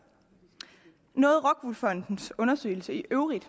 noget rockwool fondens undersøgelse i øvrigt